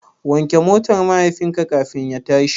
Wanke motar mahaifinka kafin ya tashi.